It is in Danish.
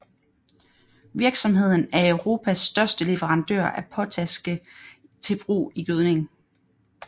Virksomheden er Europas største leverandør af potaske til brug i gødning